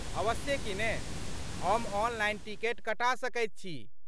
अवश्ये किने। हम ऑनलाइन टिकट कटा सकै छी ।